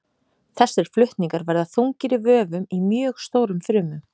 Þessir flutningar verða þungir í vöfum í mjög stórum frumum.